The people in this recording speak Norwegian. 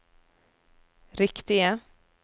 riktige